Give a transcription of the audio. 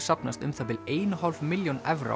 safnast um það bil ein og hálf milljón evra